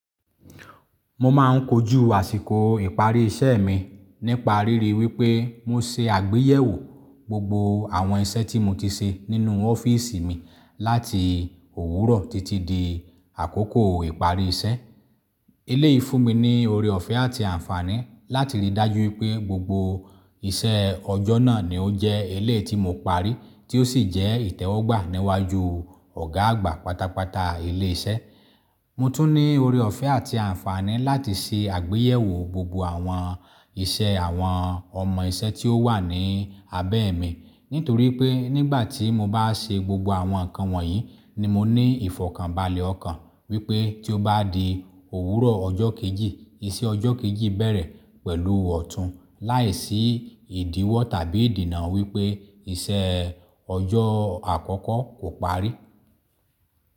Mo máà ń kojú àsìkò ìparí iṣẹ́ mi nípa ríri wípé mo se àgbéyẹ̀wò gbogbo àwọn iṣẹ́ tí mo ti ṣe nínú ọ́fíísì mi láti òwúrọ̀ títí di àkókò ìparí iṣẹ́. Éleyi fúnni ní ore ọ̀fẹ́ àti àǹfààní láti rí i dájú wípé gbogbo iṣẹ́ ọjọ́ náà ni ó jẹ́ elé tí mo parí, tí ó sì jẹ́ ìtẹ́wọ́gbà níwájú ọ̀gá àgbà pátápátá ilé iṣẹ́. Mo tún ní ore ọ̀fẹ́ àti àǹfààní láti ṣe àgbéyẹ̀wò gbogbo àwọn iṣẹ́ àwọn ọmọ iṣẹ́ tí ó wà ní abẹ́ mi. Nítorí pé nígbà tí mo bá ṣe gbogbo àwọn nǹkan wọ̀nyí ni mo ní ìfọ̀kànbalẹ̀ ọkàn wípé tí ó bá di òwúrọ̀ ọjọ́ kejì, iṣẹ́ ọjọ́ kejì bẹ̀rẹ̀ pẹ̀lú ọ̀tún láìsí ìdíwọ́ tàbí ìdìna wípé iṣẹ́ ọjọ́ àkọ́kọ́ kò parí.